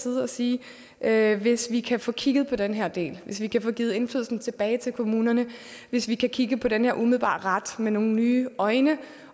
ud og sige at hvis vi kan få kigget på den her del at hvis vi kan få givet indflydelsen tilbage til kommunerne at hvis vi kan kigge på den her umiddelbare ret med nye øjne